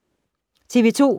TV 2